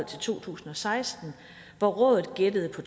to tusind og seksten hvor rådet gættede på